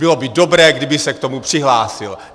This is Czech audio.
Bylo by dobré, kdyby se k tomu přihlásil.